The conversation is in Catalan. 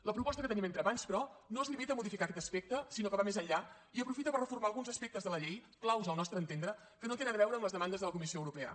la proposta que tenim entre mans però no es limita a modificar aquest aspecte sinó que va més enllà i aprofita per reformar alguns aspectes de la llei claus al nostre entendre que no tenen a veure amb les demandes de la comissió europea